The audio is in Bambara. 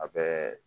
A bɛɛ